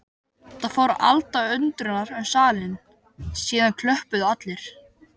Það fór alda undrunar um salinn, síðan klöppuðu allir.